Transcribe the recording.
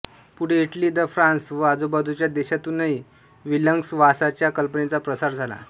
पुढे इटली द फ्रान्स व आजूबाजूच्या देशांतूनही विलग्नवासाच्या कल्पनेचा प्रसार झाला